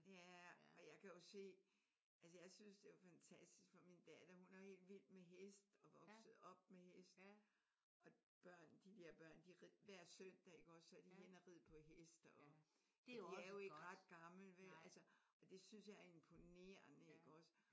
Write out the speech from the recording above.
Ja. Og jeg kan jo se altså jeg synes det er jo fantastisk for min datter hun er jo helt vild med hest og vokset op med hest og børn de der børn de rider hver søndag iggås så er de henne og ride på hest. Og de er jo ikke ret gamle vel og det synes jeg er imponerende iggås?